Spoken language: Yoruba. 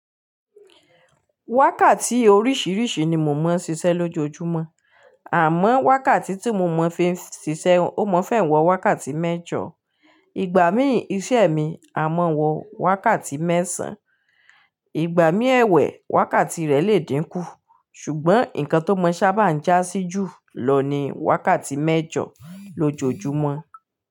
Wákàtí orísirisi ni mò mọ ṣiṣẹ́ lójoojúmọ́, àmọ́ wákàtí tí mo mọ̀ fi ń ṣiṣẹ́ ó mọ́ fẹ́ wọ wákàtí mẹ́jọ. Igbà mí ìṣe mi a mọ wọ wákàtí mẹ́sàn. Igbà mí ewe, wákàtí rẹ lé dínkù. Ṣùgbọ́n nnkan tó mọ sábà ń jásí jù lọ ni wákàtí mẹ́jọ lójoojúmọ́